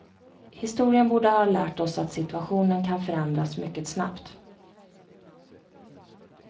Historien borde ha lärt oss att siuationen kan förändras mycket snabbt.